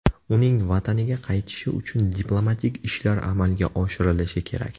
Uning vataniga qaytishi uchun diplomatik ishlar amalga oshirilishi kerak.